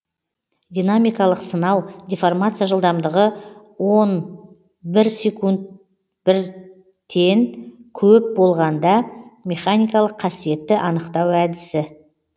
динамикалық сынау деформация жылдамдығы он бір секунд бір тен көп болғанда механикалық қасиетті анықтау әдісі